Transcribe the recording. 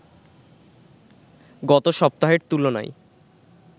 গত সপ্তাহের তুলনায়